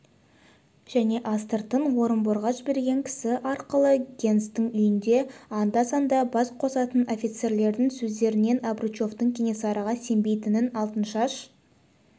және астыртын орынборға жіберген кісі арқылы генстің үйінде анда-санда бас қосатын офицерлердің сөздерінен обручевтің кенесарыға сенбейтінін алтыншаш